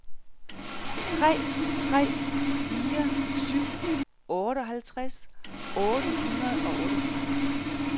tre tre fire syv otteoghalvtreds otte hundrede og otteogtredive